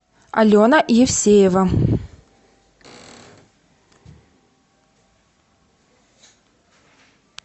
алена евсеева